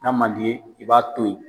N'a man d'i ye i b'a to ye.